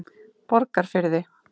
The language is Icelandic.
Borgarfirði